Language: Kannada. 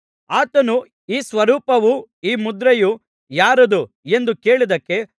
ಆತನು ಈ ಸ್ವರೂಪವು ಈ ಮುದ್ರೆಯೂ ಯಾರದು ಎಂದು ಕೇಳಿದ್ದಕ್ಕೆ